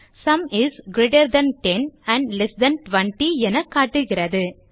sum is greater than 10 and less than 20 என காட்டுகிறது